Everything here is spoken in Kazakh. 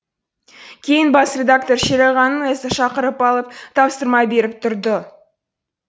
кейін бас редактор шерағаңның өзі шақырып алып тапсырма беріп тұрды